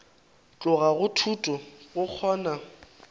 tloga go thuto go kgona